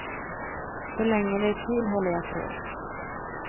Så länge det är kul håller jag på.